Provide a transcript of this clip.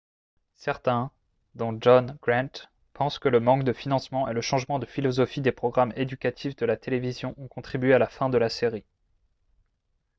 certains dont john grant pensent que le manque de financement et le changement de philosophie des programmes éducatifs de la télévision ont contribué à la fin de la série